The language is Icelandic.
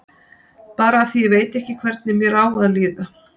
Bara af því að ég veit ekki hvernig mér á að líða.